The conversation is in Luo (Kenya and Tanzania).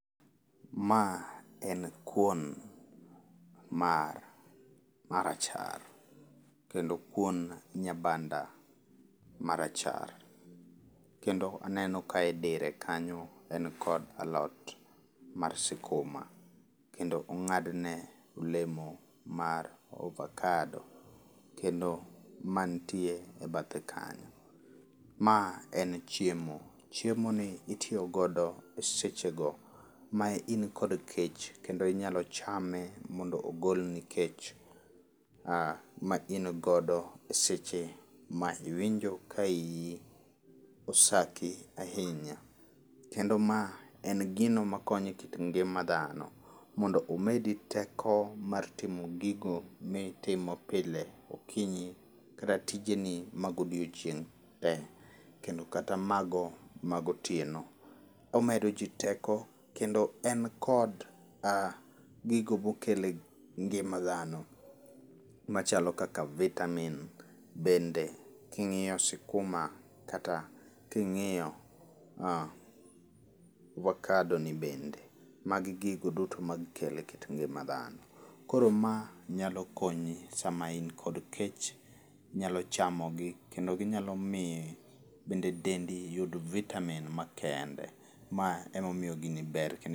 Ma en kuon marachar, kendo kuon mar nyabanda marachar kendo aneno ka e dire kanyo en kod alot mar sikuma kendo ong'adne olemo mar ovakado, kendo mantie e bathe kanyo. Ma en chiemo. Chiemoni itiyogodo e sechego ma in kod kech kendo inyalo chame mondo ogolni kech ma in godo seche ma iwinjo ka iyi osaki ahinya. Kendo ma en gino makonyo e kit ngima dhano. Mondo omedi teko mar timo gigo mitimo pile okinyi kata tijen ma godiechieng' tee, kendo kata mago magotieno. Omedo ji teko kendo en kod gigo mokelo e ngima dhano machalo kaka vitamin bende king'iyo sikuma kata king'iyo ovakadoni bende magi gigo duto magikelo e kit ngima dhano. Koro ma nyalo konyi sama in kod kech, inyalo chamogi kendo ginyalo mi bende dendi yud vitamin makende, ma emomiyo gini ber kendo..